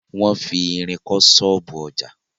Wọn fi irin kọ́ ṣọ́ọ̀bú ọjà.